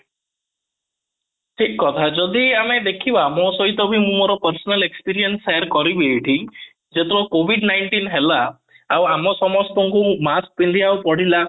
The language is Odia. ଠିକ କଥା ଯଦି ଆମେ ଦେଖିବା ମୋ ସହିତ ବି ମୋର personal experience share କରିବି ଏଇଠି ଯେତେବେଳେ covid nineteen ହେଲା ଆଉ ଆମ ସମସ୍ତଙ୍କୁ mask ପିନ୍ଧିବାକୁ ପଡିଲା